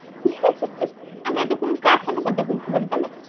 আমি এতক্ষণ কার সাথে কথা বলছিলাম তালে?